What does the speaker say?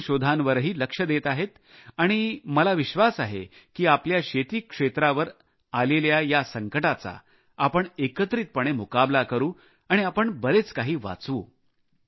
नवीन शोधांवरही लक्ष देत आहे आणि मला विश्वास आहे की आपल्या शेती क्षेत्रावर आलेल्या या संकटाचा आपण एकत्रितपणे मुकाबला करू आणि आपण बरेच काही वाचवू